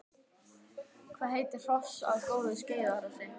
Hvað gerir hross að góðu skeiðhrossi?